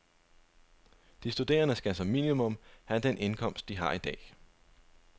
De studerende skal som minimum have den indkomst, de har i dag.